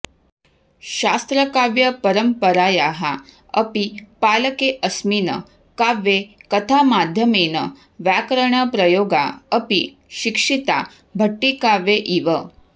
शास्त्रकाव्यपरम्परायाः अपि पालकेऽस्मिन् काव्ये कथामाध्यमेन व्याकरणप्रयोगा अपि शिक्षिता भट्टिकाव्ये इव